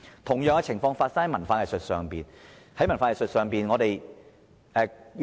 同樣的情況發生在文化藝術上。